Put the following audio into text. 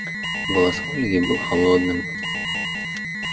голос ольги был холодным